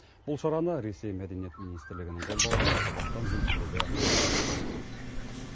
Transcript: бұл шараны ресей мәдениет министрлігінің қолдауымен қазақстан елшілігі ұйымдастырған